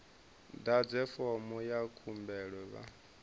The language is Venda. ḓadze fomo ya khumbelo vha